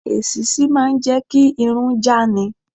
Èṣíṣí máà ń jẹ́ kí irun já ni.